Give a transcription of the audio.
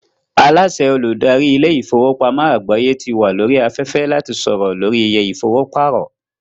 Aláàsẹ Olùdarí ilé ìfowópamọ́ àgbáyé ti wà lórí afẹ́fẹ́ láti sọ̀rọ̀ lórí iye ìfowó pàrọ̀